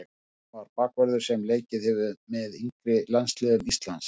Adam er bakvörður sem leikið hefur með yngri landsliðum Íslands.